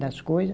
Das coisa.